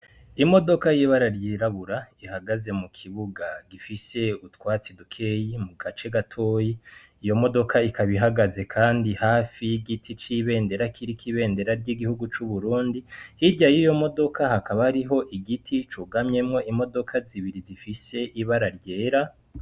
Imodoka y'ibara ryirabura ihagaze mu kibuga gifise utwatsi dukeyi mu gace gatoyi, iyo modoka ikaba ihagaze hafi y'igiti c'ibendera kiriko ibendera y'igihugu c'Uburundi, hirya yiyo modoka hakaba hariho igiti cugamyemwo imodoka zibiri zifise ibara ryera.